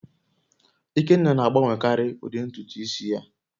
Ikenna na-agbanwekarị ụdị ntutu isi ya